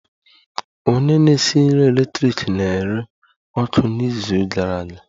Onye na-esi nri eletrik na-ere ọkụ n'izu gara aga